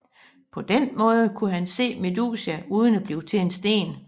På den måde kunne han se Medusa uden at blive til sten